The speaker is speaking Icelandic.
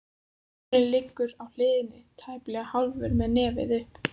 Máninn liggur á hliðinni, tæplega hálfur með nefið upp.